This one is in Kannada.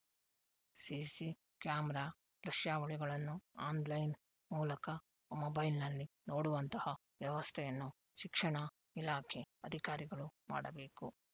ಸಿಸಿ ಕ್ಯಾಮೆರಾ ದೃಶ್ಯಾವಳಿಗಳನ್ನು ಆನ್‌ಲೈನ್‌ ಮೂಲಕ ಮೊಬೈಲ್‌ನಲ್ಲಿ ನೋಡುವಂತಹ ವ್ಯವಸ್ಥೆಯನ್ನು ಶಿಕ್ಷಣಾ ಇಲಾಖೆ ಅಧಿಕಾರಿಗಳು ಮಾಡಬೇಕು